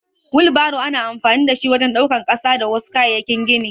Wilbaro ana amfani da shi wajen daukan ƙasa da wasu kayayyakin gini.